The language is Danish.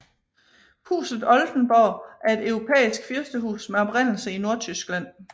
Huset Oldenborg er et europæisk fyrstehus med oprindelse i Nordtyskland